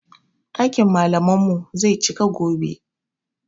Ɗakin malaman mu zai cika gobe